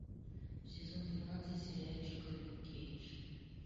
сезон двенадцать сериальчика люк кейдж